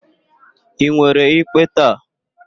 Ị nwere ikpe taa?